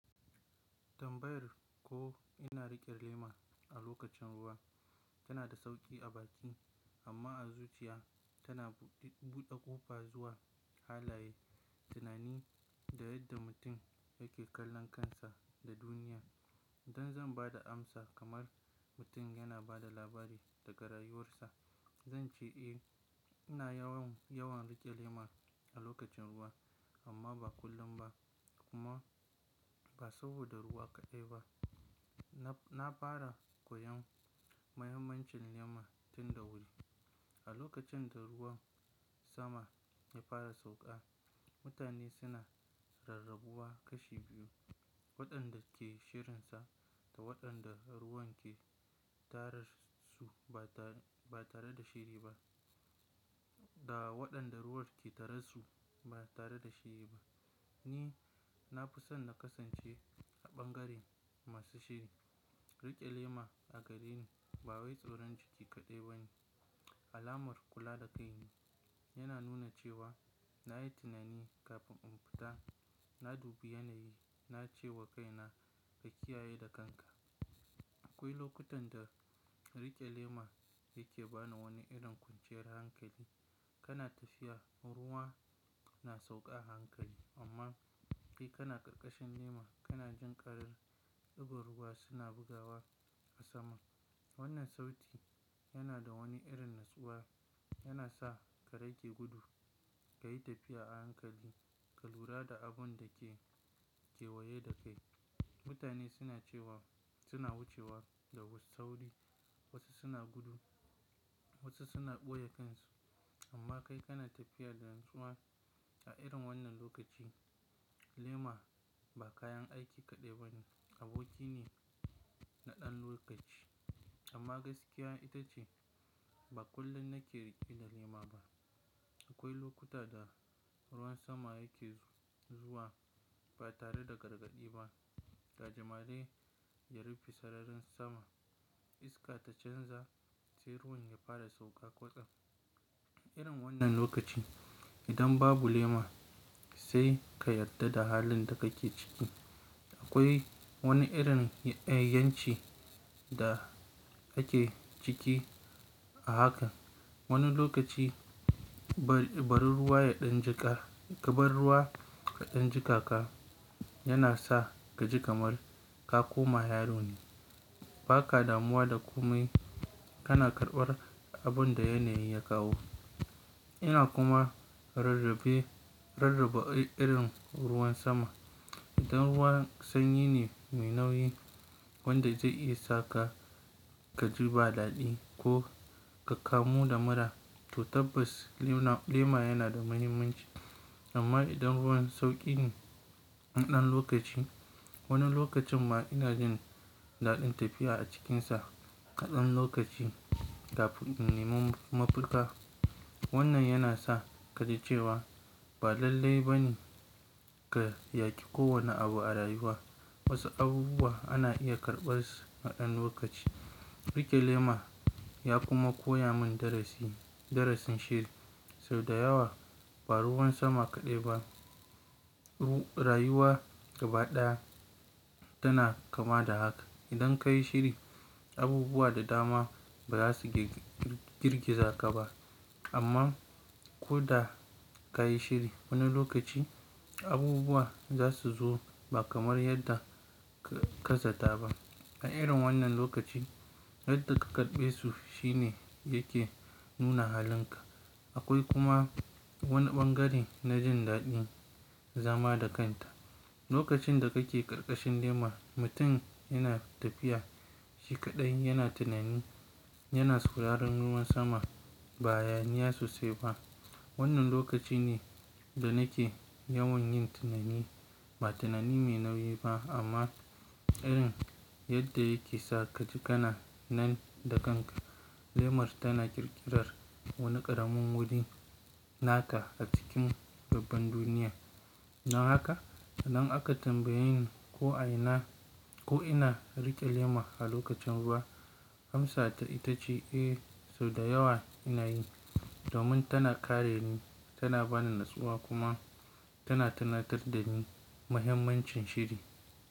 Tambayar ko ina riƙe lema a lokacin ruwa tana da sauƙi a baki amma a zuciya tana buɗe ƙofa zuwa halaye, tunani da yadda mutum yake kallon kansa da duniya. Idan zan ba da amsa kamar mutum yana ba da labari daga rayuwarsa, zan ce eh, ina yawan riƙe lema a lokacin ruwa amma ba kullum ba kuma ba saboda ruwa kaɗai ba. Na fara koyon muhimmancin lema tun da wuri. A lokacin da ruwan sama ya fara sauƙa, mutane suna rarrabuwa kashi biyu, waɗanda ke shirinsa da waɗanda ruwan ke tarar su ba tare da shiri ba. Ni na fi son na kasance a ɓangaren masu shiri. Riƙe lema a gare ni ba wai tsoron jiki kaɗai ba ne, alamar kula da kai ne. Yana nuna cewa na yi tunani kafin in fita, na dubi yanayi, na ce wa kaina ka kiyaye da kanka. Akwai lokutan da riƙe lema yake bani wani irin kwanciyar hankali. Kana tafiya, ruwa na sauƙa a hankali amma kai kana ƙarƙashin lema, kana jin ƙarar ɗigon ruwa suna bugawa a sama. Wannan sauti yana da wani irin natsuwa, yana sa ka rage gudu, ka yi tafiya a hankali, ka lura da abun da ke kewaye da kai. Mutane suna wucewa da wasu sauri, wasu suna gudu, wasu suna ɓoye kansu amma kai kana tafiya da natsuwa. A irin wannan lokaci lema ba kayan aiki kaɗai ba ne, aboki ne na ɗan lokaci. Amma gaskiya ita ce ba kullum nake riƙe da lema ba. Akwai lokuta da ruwan sama yake zuwa ba tare da gargaɗi ba. Gaji mare ya rufe sararin sama, iska ta canza sai ruwan ya fara sauƙa kotsa. Irin wannan lokaci idan babu lema sai ka yarda da halin da kake ciki. Akwai wani irin ƴanci da kake ciki a haka. Wani lokaci ƙabar ruwa ya ɗan jiƙaka yana sa ka ji kamar ka koma yaro ne. Ba ka damuwa da komai, kana karɓar abun da yanayi ya kawo. Yana kuma rarrabe irin ruwan sama. Idan ruwa sanyi ne mai nauyi wanda zai iya saka ka ji ba daɗi ko ka kamu da mura to tabbas lema yana da muhimmanci. Amma idan ruwan sauƙi ne na ɗan lokaci, wani lokacin ma ina jin daɗin tafiya a cikinsa ƙadan lokaci kafin in nemo mafita. Wannan yana sa ka ji cewa ba lallai ba ne ka yaƙi kowane abu a rayuwa. Wasu abubuwa ana iya karɓarsu na ɗan lokaci. Riƙe lema ya kuma koya min darasin shiri. Sau da yawa ba ruwan sama kaɗai ba, rayuwa gaba ɗaya tana kama da haka. Idan ka yi shiri, abubuwa da dama ba za su girgiza ka ba amma ko da ka yi shiri wani lokaci abubuwa za su zo ba kamar yadda ka zata ba. A irin wannan lokaci yadda ka karɓe su shi ne yake nuna halinka. Akwai kuma wani ɓangare na jin daɗin zama da kanta. Lokacin da kake ƙarƙashin lema, mutum yana tafiya shi kaɗai yana tunani, yana sauraron ruwan sama ba hayaniya sosai ba. Wannan lokaci ne da nake yawan yin tunani ba tunani mai nauyi ba amma irin yadda yake sa ka ji kana nan da kanka. Lemar tana ƙirƙirar wani ƙaramin wuri naka a cikin babban duniya. Dan haka idan aka tambaye ni ko ina riƙe lema a lokacin ruwa, amsata ita ce eh sau da yawa ina yi domin tana kare ni, tana bani natsuwa kuma tana tunatar da ni muhimmancin shiri.